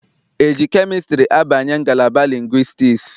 E ji kemịstrị abanye ngalaba lingwistiks?